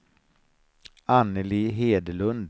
Anneli Hedlund